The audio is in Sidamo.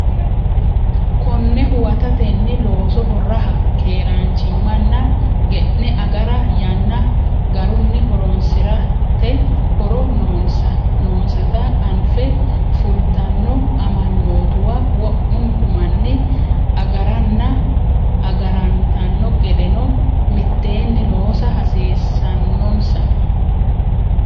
Konne huwatatenni, loosoho raha, keeraanchimmanna ge’ne agara, yanna garunni horoonsi’rate horo noonsata anfe fultanno amanyootuwa wo’munku manni agaranna agarantanno gedeno mitteenni loosa hasiis- sannonsa.